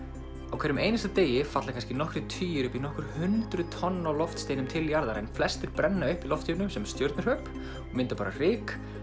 á hverjum einasta degi falla kannski nokkrir tugir og upp í nokkur hundruð tonn af loftsteinum til jarðar en flestir brenna upp í lofthjúpnum sem stjörnuhröp og mynda bara ryk